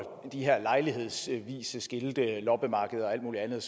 de her lejlighedsvise skilte loppemarkeder og alt muligt andet